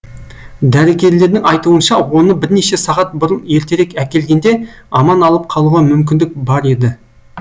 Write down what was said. дәрігерлердің айтуынша оны бірнеше сағат бұрын ертерек әкелгенде аман алып қалуға мүмкіндік бар еді